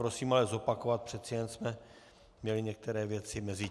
Prosím ale zopakovat, přece jen jsme měli některé věci mezitím.